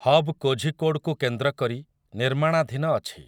Hub କୋଝିକୋଡ଼୍‌କୁ କେନ୍ଦ୍ରକରି ନିର୍ମାଣାଧୀନ ଅଛି ।